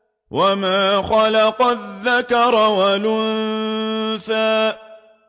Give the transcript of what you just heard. وَمَا خَلَقَ الذَّكَرَ وَالْأُنثَىٰ